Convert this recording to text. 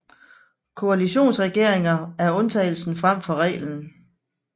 Koalitionsregeringer er undtagelsen frem for reglen